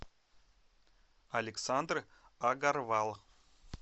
александр агарвал